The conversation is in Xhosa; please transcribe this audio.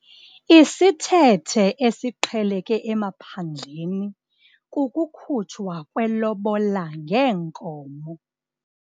Isithethe esiqheleke emaphandleni kukukhutshwa kwelobola ngeenkomo.